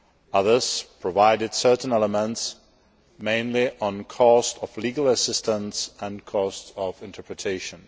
Others provided certain elements, mainly on the costs of legal assistance and interpretation.